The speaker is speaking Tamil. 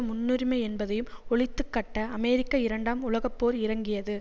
முன்னுரிமை என்பதையும் ஒழித்துக்கட்ட அமெரிக்கா இரண்டாம் உலக போர் இறங்கியது